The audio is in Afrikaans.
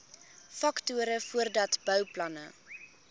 faktore voordat bouplanne